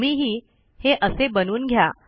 तुम्हीही हे असे बनवून घ्या